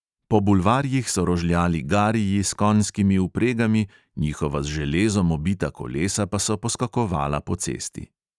Po bulvarjih so rožljali gariji s konjskimi vpregami, njihova z železom obita kolesa pa so poskakovala po cesti.